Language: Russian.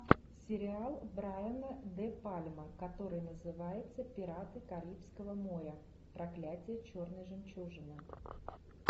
сериал брайана де пальма который называется пираты карибского моря проклятие черной жемчужины